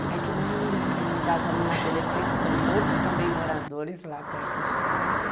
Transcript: É que na realidade a minha adolescência são todos também moradores lá perto de casa.